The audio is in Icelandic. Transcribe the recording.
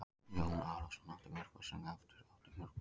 Og Jón Arason átti mörg börn sem aftur áttu mörg börn.